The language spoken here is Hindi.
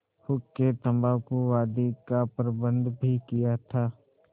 हुक्केतम्बाकू आदि का प्रबन्ध भी किया था